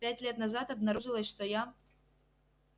пять лет назад обнаружилось что я